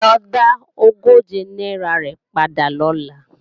Lo dá ogóje náírà rẹ̀ padà lọ́la!